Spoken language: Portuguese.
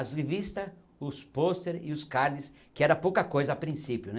As revistas, os posters e os cards, que era pouca coisa a princípio, né?